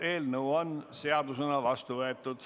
Eelnõu on seadusena vastu võetud.